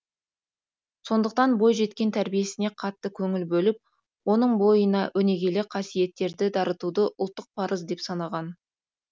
сондықтан бойжеткен тәрбиесіне қатты көңіл бөліп оның бойына өнегелі қасиеттерді дарытуды ұлттық парыз деп санаған